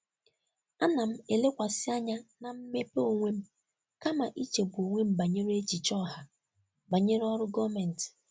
Ana m elekwasị anya na mmepe onwe m kama ichegbu onwe m banyere echiche ọha banyere ọrụ gọọmentị.